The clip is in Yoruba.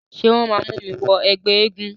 Ṣé wọ́n máa mú mi wọ ẹgbẹ́ eégún?